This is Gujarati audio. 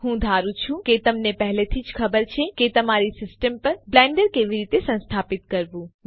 હું ધારું છું કે તમને પહેલેથી જ ખબર છે કે તમારી સિસ્ટમ પર બ્લેન્ડર કેવી રીતે સંસ્થાપિત કરવું